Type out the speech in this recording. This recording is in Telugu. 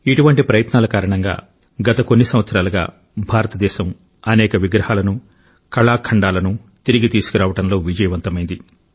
ఇటువంటి ప్రయత్నాల కారణంగా గత కొన్ని సంవత్సరాలుగా భారతదేశం అనేక విగ్రహాలను కళాఖండాలను తిరిగి తీసుకురావడంలో విజయవంతమైంది